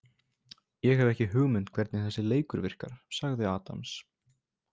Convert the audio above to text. Ég hef ekki hugmynd hvernig þessi leikur virkar sagði Adams.